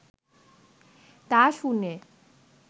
তা শুনে